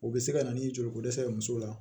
U bɛ se ka na ni joliko dɛsɛ ye muso la